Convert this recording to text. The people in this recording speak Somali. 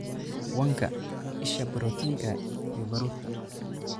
Wanka: Isha borotiinka iyo baruurta.